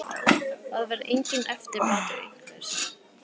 Að vera enginn eftirbátur einhvers